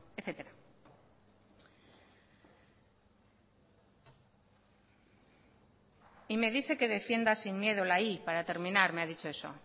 etcétera y me dice que defienda sin miedo la y para terminar me ha dicho eso